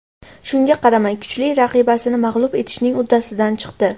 Shunga qaramay, kuchli raqibasini mag‘lub etishning uddasidan chiqdi.